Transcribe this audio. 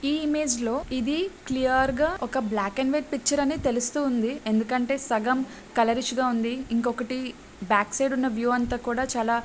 ఈ ఇమేజ్ లో ఇది క్లియర్ గా ఒక బ్లాక్ అండ్ వైట్ పిక్చర్ అని తెలుస్తూ ఉంది. ఎందుకంటే సగం కలరిష్ గా ఉంది. ఇంకొక్కటి బ్యాక్ సైడ్ ఉన్న వ్యూ అంత కూడా చాల--